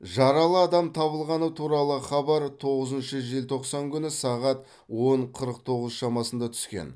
жаралы адам табылғаны туралы хабар тоғызыншы желтоқсан күні сағат он қырық тоғыз шамасында түскен